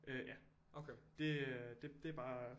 Øh ja det det bare